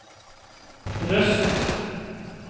Røst